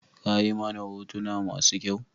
Kayi mana hotona masu kyau?